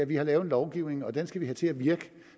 vi har lavet en lovgivning og den skal vi have til at virke